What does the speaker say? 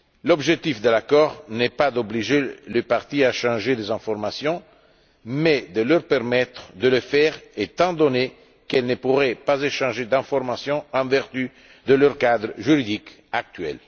L'objectif de l'accord n'est pas d'obliger les parties à échanger des informations, mais de leur permettre de le faire, étant donné qu'elles ne pourraient pas échanger d'informations en vertu de leur cadre juridique actuel.